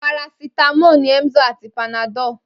Parasítámọ̀ ni Emzor àti Panadol.